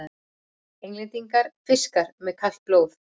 Englendingar: fiskar með kalt blóð!